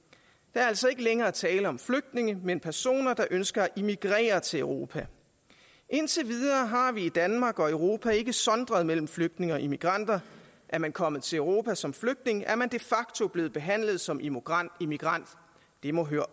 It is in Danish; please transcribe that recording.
er altså ikke længere tale om flygtninge men personer der ønsker at emigrere til europa indtil videre har vi i danmark og europa ikke sondret mellem flygtninge og emigranter er man kommet til europa som flygtning er man de facto blevet behandlet som emigrant emigrant det må høre